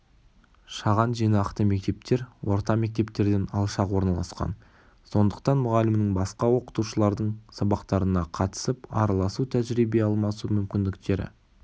шаған жинақты мектептер орта мектептерден алшақ орналасқан сондықтан мұғалімнің басқа оқытушылардың сабақтарына қатысып араласу тәжірибе алмасу мүмкіндіктері